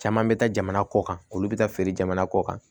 Caman bɛ taa jamana kɔ kan olu bɛ taa feere jamana kɔ kan